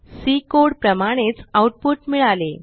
C code प्रमाणेच output मिळाले